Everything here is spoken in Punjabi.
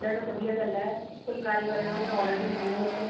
ਵਧੀਆ ਗੱਲ ਹੈ ਫੁਲਕਾਰੀ ਬਾਰੇ ਉਹਨਾ ਨੂੰ knowledge ਹੋਵੇ